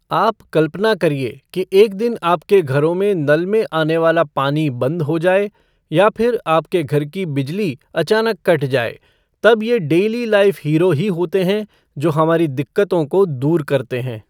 आप कल्पना करिए कि एक दिन आपके घरों में नल में आने वाला पानी बंद हो जाए या फिर आपके घर की बिजली अचानक कट जाए, तब ये डेली लाइफ़ हीरो ही होते हैं जो हमारी दिक्कतों को दूर करते हैं।